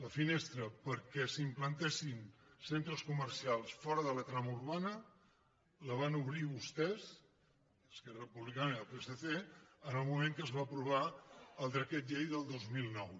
la finestra perquè s’implantessin centres co·mercials fora de la trama urbana la van obrir vostès es·querra republicana i el psc en el moment en què es va aprovar el decret llei del dos mil nou